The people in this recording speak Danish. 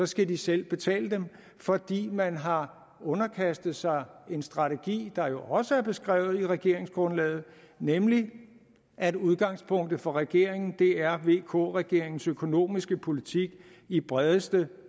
skal de selv betale dem fordi man har underkastet sig en strategi der jo også er beskrevet i regeringsgrundlaget nemlig at udgangspunktet for regeringen er vk regeringens økonomiske politik i bredeste